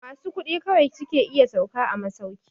Masu kuɗi kawai su ke iya sauka a masauki.